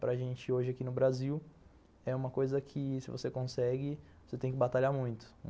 Para gente hoje aqui no Brasil, é uma coisa que se você consegue, você tem que batalhar muito.